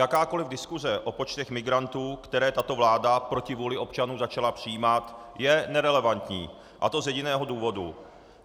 Jakákoli diskuse o počtech migrantů, které tato vláda proti vůli občanů začala přijímat, je nerelevantní, a to z jediného důvodu.